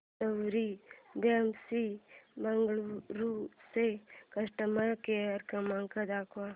सवारी cabs Bengaluru चा customer care क्रमांक दाखवा